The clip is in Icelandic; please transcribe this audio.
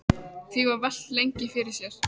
Því var velt lengi fyrir sér.